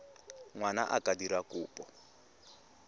ngwana a ka dira kopo